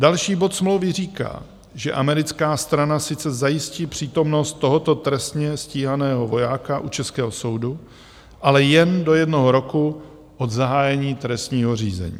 Další bod smlouvy říká, že americká strana sice zajistí přítomnost tohoto trestně stíhaného vojáka u českého soudu, ale jen do jednoho roku od zahájení trestního řízení.